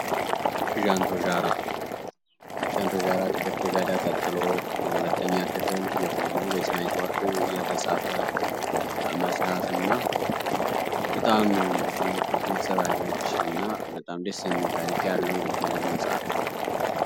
ዣራክ ዴርቶጋዳ ቀጥሎ ለሁለተኛ ክፍል የሆነ በስናይ መጽሐፍ እና በጣም ደስ የሚል ታሪክ ያለው የልብ ወለድ መጽሃፍ ነው